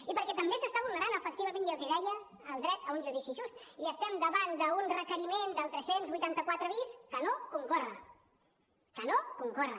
i perquè també s’està vulnerant efectivament i els hi deia el dret a un judici just i estem davant d’un requeriment del tres cents i vuitanta quatre bis que no concorre que no concorre